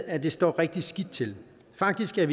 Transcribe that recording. at det står rigtig skidt til faktisk er